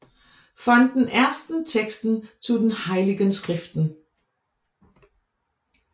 Von den ersten Texten zu den heiligen Schriften